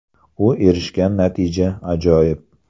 U erishgan natija − ajoyib.